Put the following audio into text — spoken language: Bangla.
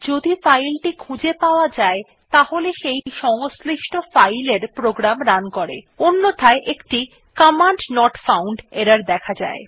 যদি ফাইল টি খুঁজে পাওয়া যায় তাহলে সেই সংশ্লিষ্ট ফাইল এর প্রোগ্রাম রান করে অন্যথায় একটি কমান্ড নট ফাউন্ড এরর দেখা যায়